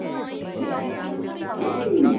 এ কি?